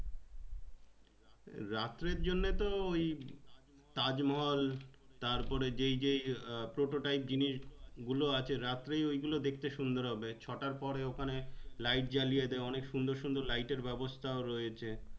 রাত্রের জন্য তো ওই তাজমহল তারপরে যেই যে prototype জিনিস গুলো আছে রাত্রেই গুলো দেখতে সুন্দর হবে ছটার পরে তারপরে ওখানে light জ্বালিয়ে দেয় অনেক সুন্দর সুন্দর light এর ব্যবস্থা রয়েছে